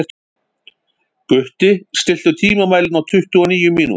Gutti, stilltu tímamælinn á tuttugu og níu mínútur.